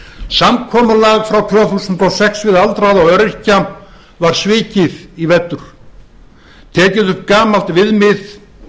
samkomulag frá tvö þúsund og sex við aldraða og öryrkja var svikið í vetur tekið upp gamalt viðmið